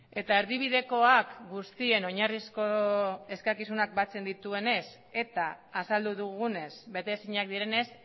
eta erdibidekoak guztien oinarrizko eskakizunak batzen dituenez eta azaldu dugunez bete ezinak direnez